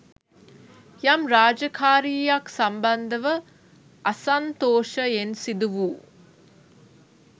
යම් රාජකාරීයක් සම්බන්ධව අසන්තෝෂයෙන් සිදු වූ